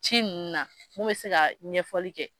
Ci ninnu na ne bɛ se ka ɲɛfɔli kɛ.